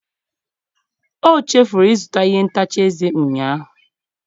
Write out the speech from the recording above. O chefuru ịzụta ihe ntacha eze ụnyahụ.